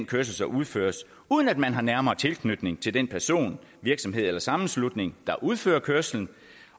kørsel der udføres uden at man har en nærmere tilknytning til den person virksomhed eller sammenslutning der udfører kørslen